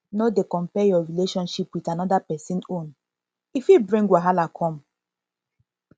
no dey compare your relationship with another person own e fit bring wahala come